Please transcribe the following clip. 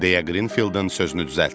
deyə Qrinfieldin sözünü düzəltdi.